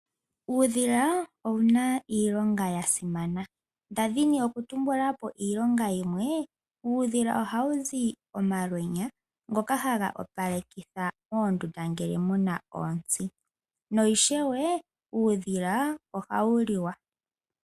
Uudhila owuna iilonga yasimana ndadhini okutumbula po iilonga yimwe uudhila ohawu zi omalwenya ngoka haga opalekitha moondunda ngele muna ontsi no ishewe uudhila ohawu liwa.